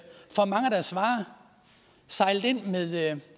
deres varer sejlet ind